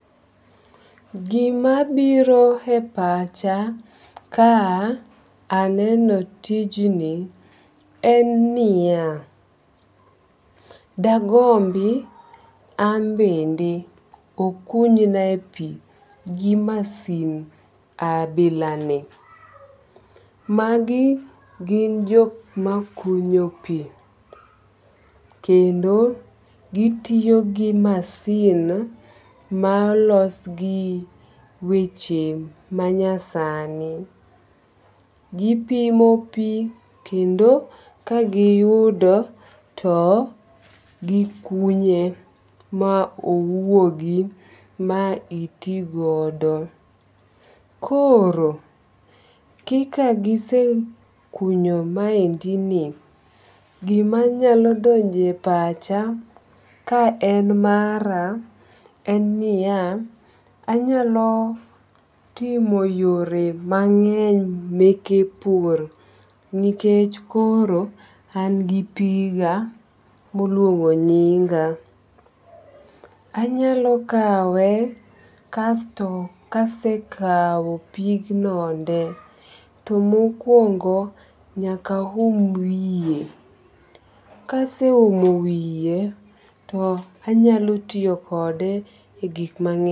Gimabiro e pacha ka aneno tijni en niya, dagombi ambende okunynae pi gi masin abilani. Magi gin jokmakunyo pi kendo gitiyo gi masin ma olosgi weche manyasani. Gipimo pi kendo kagiyudo to gikunye ma owuogi ma itigodo. Koro kikagisekunyo maendini, gimanyalo donjo e pacha kaen mara en niya anyalo timo yore mang'eny meke pur nikech koro angi piga moluongo nyinga. Anyalo kawe kasto kasekawo pignonde to mokwongo nyakahum wiye kaseuomo wiye to anyalo tiyokode e gikmang'eny.